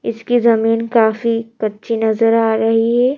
इसकी जमीन काफी कच्ची नजर आ रही है।